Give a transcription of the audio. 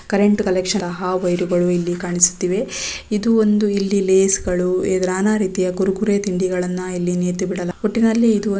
current collection wire ಗಳು ಇಲ್ಲಿ ಕಾಣಿಸುತ್ತಿವೆ ಇದು ಒಂದು ಇಲ್ಲಿ ಲೇಸ ಗಳು ಇದ್ ನಾನಾ ರೀತಿಯ ಕುರುಕುರೆ ತಿಂಡಿಗಳನ್ನು ಇಲ್ಲಿ ನೇತುಬಿಡಲಾಗಿದೆ ಒಟ್ಟಿನಲ್ಲಿ ಇದು ಒಂದು --